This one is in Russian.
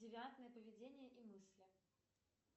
девиантное поведение и мысли